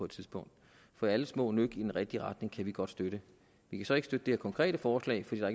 tidspunkt for alle små nøk i den rigtige retning kan vi godt støtte vi kan så ikke støtte det her konkrete forslag fordi der